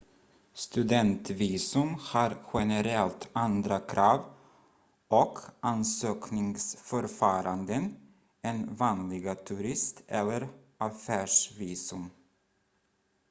studentvisum har generellt andra krav och ansökningsförfaranden än vanliga turist- eller affärsvisum